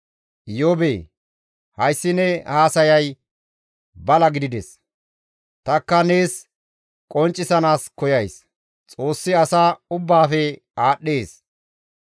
«Iyoobee! Hayssi ne haasayay bala gidides; tanikka nees qonccisanaas koyays; Xoossi asa ubbaafe aadhdhees.